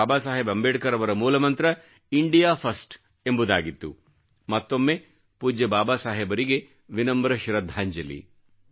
ಬಾಬಾಸಾಹೇಬ್ ಅಂಬೆಡ್ಕರ್ ಅವರ ಮೂಲಮಂತ್ರ India first ಎಂಬುದಾಗಿತ್ತು ಮತ್ತೊಮ್ಮೆ ಪೂಜ್ಯ ಬಾಬಾ ಸಾಹೇಬರಿಗೆ ವಿನಮ್ರ ಶ್ರದ್ಧಾಂಜಲಿ